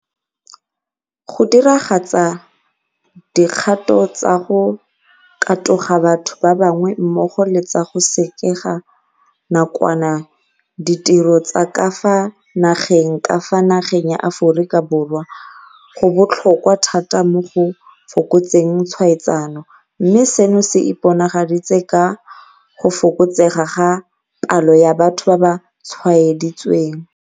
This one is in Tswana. Go diragatsa dikgato tsa go katoga batho ba bangwe mmogo le tsa go sekega nakwana ditiro tsa ka fa nageng ka fa nageng ya Aforika Borwa go botlhokwa thata mo go fokotseng tshwaetsano, mme seno se iponagaditse ka go fokotsega ga palo ya batho ba ba tshwaeditsweng.